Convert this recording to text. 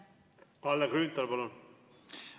Kalle Grünthal, palun!